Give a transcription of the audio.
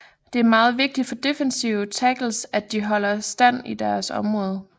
Det er meget vigtigt for defensive tackles at de holder stand i deres område